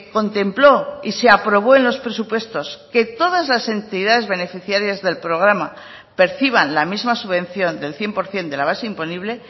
contempló y se aprobó en los presupuestos que todas las entidades beneficiarias del programa perciban la misma subvención del cien por ciento de la base imponible